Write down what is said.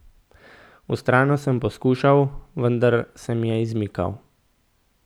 Vztrajno sem poskušal, vendar se mi je izmikal.